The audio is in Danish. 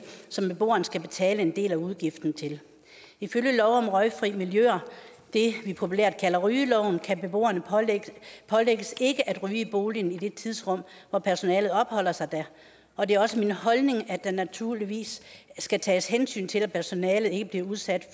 som beboeren skal betale en del af udgiften til ifølge lov om røgfri miljøer det vi populært kalder rygeloven kan beboerne pålægges ikke at ryge i boligen i det tidsrum hvor personalet opholder sig der og det er også min holdning at der naturligvis skal tages hensyn til at personalet ikke bliver udsat